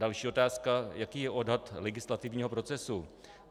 Další otázka: Jaký je odhad legislativního procesu?